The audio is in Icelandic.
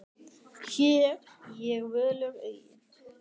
Hér ég völur eygi.